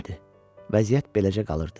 Vəziyyət beləcə qalırdı.